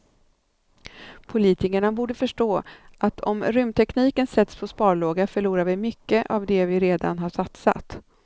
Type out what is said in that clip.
Politikerna borde förstå att om rymdtekniken sätts på sparlåga förlorar vi mycket av det vi redan har satsat.